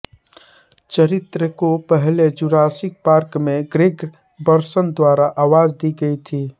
चरित्र को पहले जुरासिक पार्क में ग्रेग बर्सन द्वारा आवाज दी गई थी